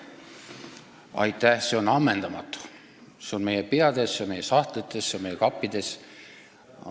See on ammendamatu ning see on meie peades, meie sahtlites ja meie kappides.